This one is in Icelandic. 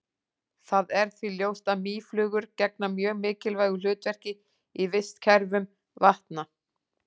Það er því ljóst að mýflugur gegna mjög mikilvægu hlutverki í vistkerfum vatna.